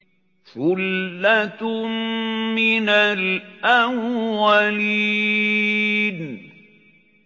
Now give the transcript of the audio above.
ثُلَّةٌ مِّنَ الْأَوَّلِينَ